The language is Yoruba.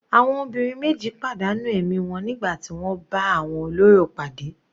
Àwọn obìnrin meji padà nù ẹ̀mí wọn nígbà tí wọ́n bá àwọn olórò pàdé.